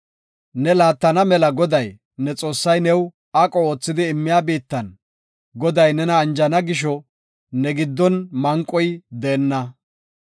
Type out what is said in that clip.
“Ne laattana mela Goday, ne Xoossay new aqo oothidi immiya biittan, Goday nena anjana gisho ne giddon manqoy deenna.